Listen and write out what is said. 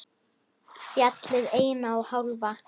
Fjallið eina og hálfa.